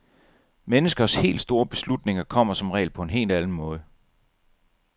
Menneskers helt store beslutninger kommer som regel på en helt anden måde.